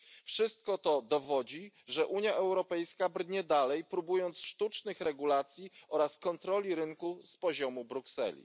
Wszystko to dowodzi, że Unia Europejska brnie dalej, próbując sztucznych regulacji oraz kontroli rynku z poziomu Brukseli.